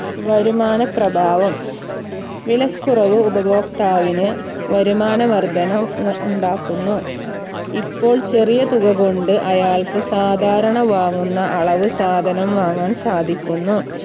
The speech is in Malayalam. വരുമാന പ്രഭാവം വിലക്കുറവ് ഉപഭോക്താവിന് വരുമാന വർധന ഉ ഉം ഉണ്ടാക്കുന്നു. ഇപ്പോൾ ചെറിയ തുക കൊണ്ട് അയാൾക്ക് സാധാരണ വാങ്ങുന്ന അളവ് സാധനം വാങ്ങാൻ സാധിക്കുന്നു